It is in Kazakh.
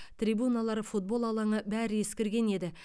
трибуналар футбол алаңы бәрі ескірген еді